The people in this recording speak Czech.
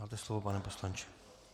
Máte slovo, pane poslanče.